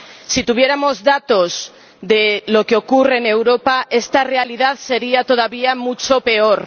Si tuviéramos datos de lo que ocurre en Europa, esta realidad sería todavía mucho peor.